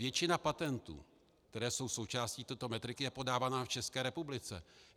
Většina patentů, které jsou součástí této metriky, je podávaná v České republice.